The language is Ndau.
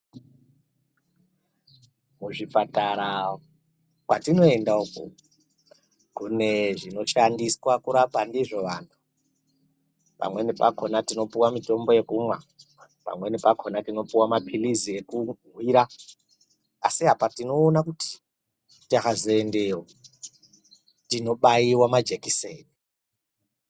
Kuzvipatara kwatinoenda uku kune zvinoshandiswa kurapa ndizvona pamweni pakona tinopuwa mitombo yekumwa pamweni pakona tinopuwe mapirizi ekuhwira asi apa tinoona kuti tikazoendeyo tinobaiwa majekiseni .